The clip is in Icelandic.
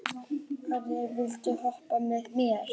Asírí, viltu hoppa með mér?